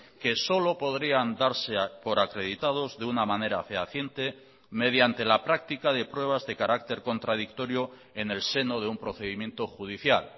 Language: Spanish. que solo podrían darse por acreditados de una manera fehaciente mediante la práctica de pruebas de carácter contradictorio en el seno de un procedimiento judicial